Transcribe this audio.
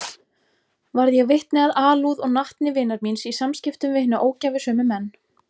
Varð ég vitni að alúð og natni vinar míns í samskiptum við hina ógæfusömu menn.